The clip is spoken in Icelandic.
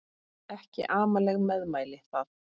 Ekki amaleg meðmæli það.